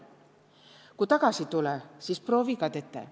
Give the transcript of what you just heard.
Ku tagasi tulõ, siis proovi ka tetä.